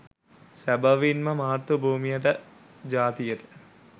සැබවින්ම මාතෘ භූමියට ජාතියට